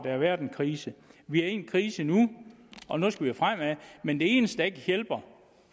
har været en krise vi er i en krise nu og nu skal vi fremad men det eneste der ikke hjælper